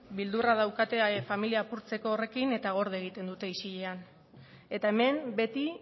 beldurra daukate familia apurtzeko horrekin eta gorde egiten dute isilean eta hemen beti